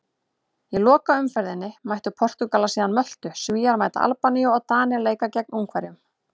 Í lokaumferðinni mæta Portúgalar síðan Möltu, Svíar mæta Albaníu og Danir leika gegn Ungverjum.